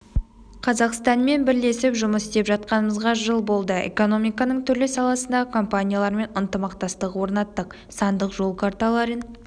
қазақстанмен бірлесіп жұмыс істеп жатқанымызға жыл болды экономиканың түрлі саласындағы компаниялармен ынтымақтастық орнаттық сандық жол карталарын